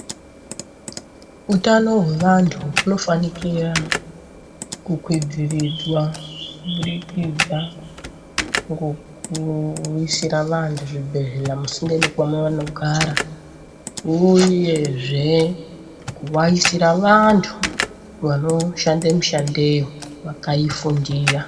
Utano hwevantu hunofanikira, kukwidziridzwa kubudikidza ngokuisira vantu zvibhedhleya musinde nekwamanonogara ,uyezve kuvaisira vantu vanoshande mishandeyo vakaifundira .